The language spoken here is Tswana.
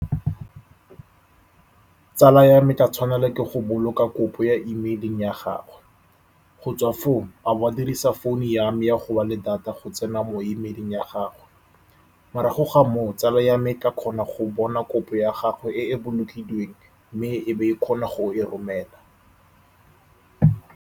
Tsala ya me e tla tshwanelwa ke go boloka kopo ya e-mail-ing ya gagwe. Go tswa foo, a bo a dirisa founu ya me ya go ba le data go tsena mo e-mail-ing ya gagwe, morago ga moo, tsala ya me e tla kgona go bona kopo ya gagwe e e bolokilweng, mme e be e kgona go e romela.